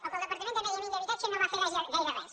o que el departament de medi ambient i habitatge no va fer gaire res